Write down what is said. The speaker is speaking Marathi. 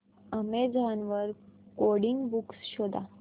अॅमेझॉन वर कोडिंग बुक्स शोधा